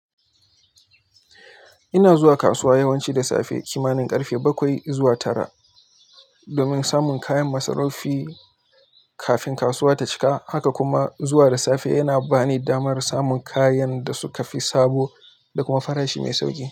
Ina zuwa kasuwa yawanci da safe, kimanin ƙarfe bakwai zuwa tara domin samun kayan masarufi kafin kasuwa ta cika. Haka kuma zuwa da safe yana bani damar samun kayan da suka fi sabo da kuma farashi mai sauƙi.